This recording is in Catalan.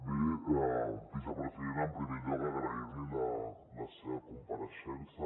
bé vicepresident en primer lloc agrair li la seva compareixença